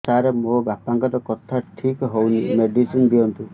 ସାର ମୋର ବାପାଙ୍କର କଥା ଠିକ ହଉନି ମେଡିସିନ ଦିଅନ୍ତୁ